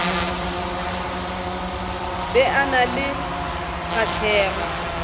be a na le kgahlego